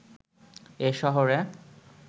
এ শহরে